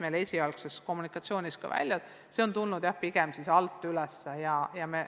See on see, mis meil esialgses kommunikatsioonis ka välja tuli, ja see on tulnud, jah, pigem alt üles.